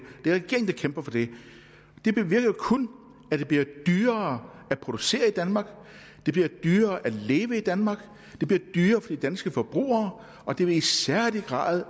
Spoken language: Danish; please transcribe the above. er kæmper for det det bevirker kun at det bliver dyrere at producere i danmark at det bliver dyrere at leve i danmark at det bliver dyrere for de danske forbrugere og det vil i særlig grad